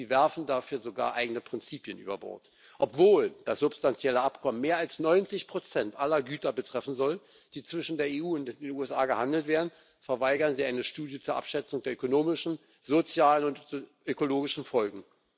Sie werfen dafür sogar eigene Prinzipien über Bord Obwohl das substanzielle Abkommen mehr als 90 aller Güter betreffen soll, die zwischen der EU und den USA gehandelt werden, verweigern Sie eine Studie zur Abschätzung der ökonomischen, sozialen und ökologischen Folgen.